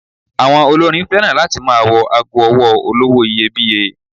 Àwọn olórin féràn láti máa wọ ago ọwọ́ olówó iyebíye.